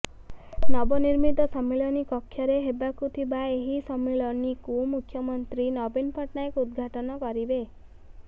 ନବନିର୍ମିତ ସମ୍ମିଳନୀ କକ୍ଷରେ ହେବାକୁ ଥିବା ଏହି ସମ୍ମିଳନୀକୁ ମୁଖ୍ୟମନ୍ତ୍ରୀ ନବୀନ ପଟ୍ଟନାୟକ ଉଦଘାଟନ କରିବେ